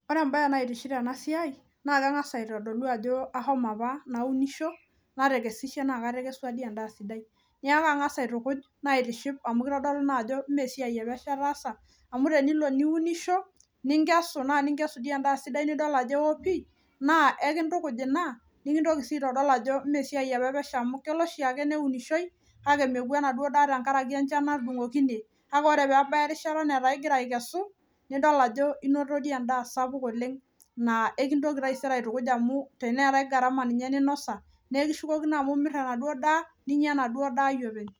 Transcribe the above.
Ore embaye naitiship tenasiai naa keng'as aitodolu ajo ashomo apa naunisho natekesishe naa katekesua dii endaa sidai. Neaku ang'as aitukuj naitiship amu keitodolu naajo meesiai epesho ataasa amu tenilo niunisho ninkesu naa ninkesu dii endaa sidai nidol ajo eo pii naa ekintukuj ina nikintoki sii aitodol ajo meesiai opa epesho amu kelo oshiake neunishoi kake mepuku enaduo daa tengaraki enchan natudung'okine kake ore peebaya erishata netaa igira aikesu nidol ajo inoto dii endaa sapuk oleng' naa ekintoki taisere aitukuj amu teneetai garama ninye ninosa nekishukokino amu imirr enaduo daa ninya enaduo daa openy.